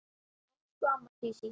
Elsku amma Sísí.